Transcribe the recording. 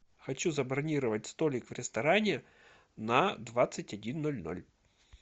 хочу забронировать столик в ресторане на двадцать один ноль ноль